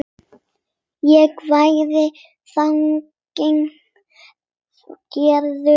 Ég væri þannig gerður.